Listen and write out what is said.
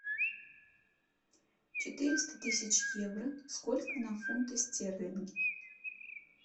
четыреста тысяч евро сколько на фунты стерлинги